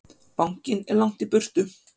Bankinn er langt í burtu.